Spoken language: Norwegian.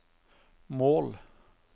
mål